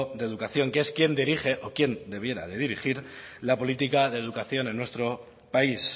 de educación que es quien dirige o quien debiera de dirigir la política de educación en nuestro país